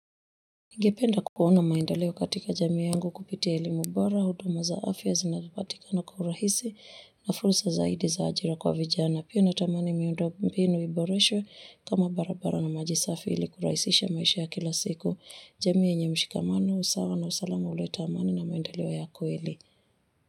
Ningependa kuona maendeleo katika jamii yangu kupitia elimu bora, huduma za afya zinazopatikana kwa urahisi na fursa zaidi za ajira kwa vijana. Pia natamani miundo mbinu iboreshwe kama barabara na maji safi ili kurahisisha maisha ya kila siku jamii yenye mshikamano, usawa na usalamu huleta amani na mwendeleo ya kweli.